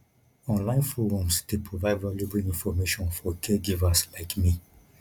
online forums dey provide valuable information for caregivers like me